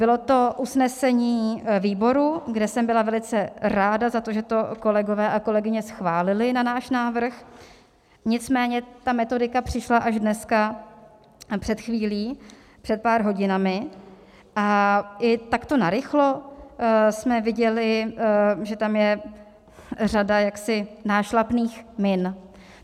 Bylo to usnesení výboru, kde jsem byla velice ráda za to, že to kolegové a kolegyně schválili na náš návrh, nicméně ta metodika přišla až dneska, před chvílí, před pár hodinami, a i takto narychlo jsme viděli, že tam je řada jaksi nášlapných min.